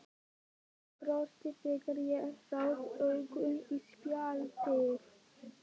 Hann brosti þegar ég rak augun í spjaldið.